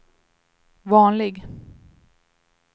vanlig